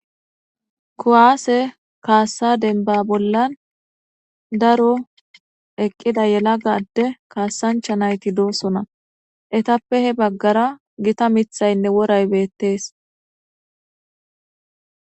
Kuwaase kaassa denbba bollan daro eqqida yalaga adde kaasancha nayti doosona. Etappe hebaggara gita mithaynne woray beettees.